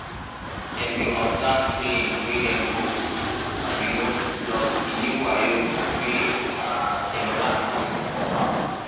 dem dey observe trianing wey dem go um plus di new wayo wey um dem learn con put for farm.